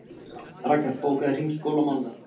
Raknar, bókaðu hring í golf á mánudaginn.